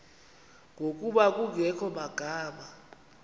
ngokuba kungekho magama